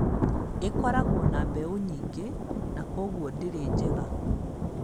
Ĩkoragwo na mbeũ nyingĩ na kwoguo ndĩrĩ njega.